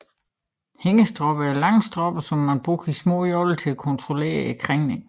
Hængestropper er lange stropper som man bruger i små joller til at kontrollere krængningen